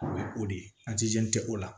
O ye o de ye tɛ o la